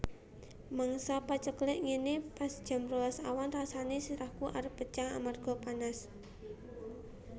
Mangsa paceklik ngene pas jam rolas awan rasane sirahku arep pecah amarga panas